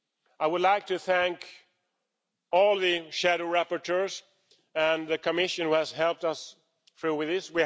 I would like to thank all the shadow rapporteurs and the Commission, who have helped us through with this.